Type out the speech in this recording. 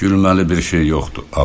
Gülməli bir şey yoxdur.